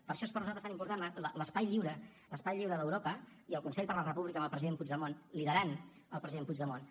per això és per nosaltres tan important l’espai lliure l’espai lliure d’europa i el consell de la república amb el president puigdemont liderant el president puigdemont